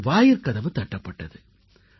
அப்போது வாயிற்கதவு தட்டப்பட்டது